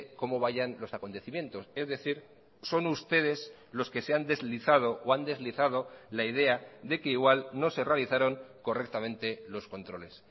cómo vayan los acontecimientos es decir son ustedes los que se han deslizado o han deslizado la idea de que igual no se realizaron correctamente los controles